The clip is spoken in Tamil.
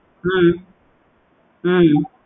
ஹம் உம்